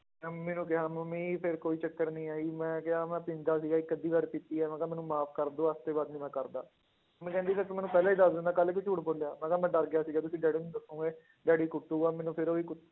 ਮੈਂ ਮੰਮੀ ਨੂੰ ਕਿਹਾ ਮੰਮੀ ਫਿਰ ਕੋਈ ਚੱਕਰ ਨੀ ਆ ਜੀ ਮੈਂ ਕਿਹਾ ਮੈਂ ਪੀਂਦਾ ਸੀਗਾ ਇੱਕ ਅੱਧੀ ਵਾਰ ਪੀਤੀ ਹੈ, ਮੈਂ ਕਿਹਾ ਮੈਨੂੰ ਮਾਫ਼ ਕਰ ਦਓ ਅੱਜ ਦੇ ਬਾਅਦ ਨੀ ਮੈਂ ਕਰਦਾ, ਮੰਮੀ ਕਹਿੰਦੀ ਫਿਰ ਤੂੰ ਮੈਨੂੰ ਪਹਿਲਾਂ ਹੀ ਦੱਸ ਦਿੰਦਾ ਕੱਲ੍ਹ ਕਿਉਂ ਝੂਠ ਬੋਲਿਆ, ਮੈਂ ਕਿਹਾ ਮੈਂ ਡਰ ਗਿਆ ਸੀਗਾ ਵੀ ਕਿ ਡੈਡੀ ਨੂੰ ਦੱਸੋਂਗੇ ਡੈਡੀ ਕੁੱਟੇਗਾ ਮੈਨੂੰ ਫਿਰ ਉਹ ਹੀ ਕ~